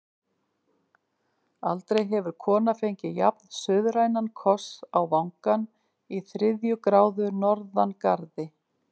Aldrei hefur kona fengið jafn-suðrænan koss á vangann í þriðju gráðu norðangarði.